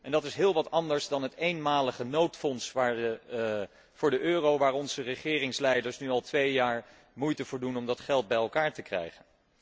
En dat is heel wat anders dan het eenmalige noodfonds voor de euro waar onze regeringsleiders nu al twee jaar moeite voor doen om dat geld bij elkaar te krijgen.